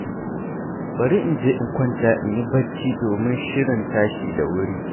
Bari in je in kwanta in yi barci domin shirin tashi da wuri.